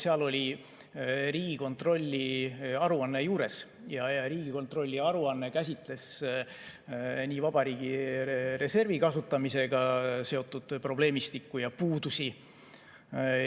Seal oli Riigikontrolli aruanne juures ja Riigikontrolli aruanne käsitles ka vabariigi reservi kasutamisega seotud probleemistikku ja puudusi.